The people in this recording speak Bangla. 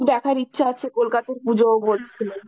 দেখার ইচ্ছা আছে কলকাতার পুজো বলছিল.